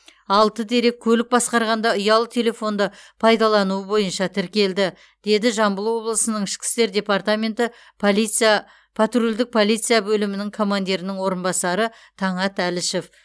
алты дерек көлік басқарғанда ұялы телефонды пайдалануы бойынша тіркелді деді жамбыл облысының ішкі істер департаменті полиция патрульдік полиция бөлімінің командирінің орынбасары таңат әлішев